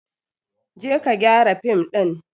Je ka gyara fim din!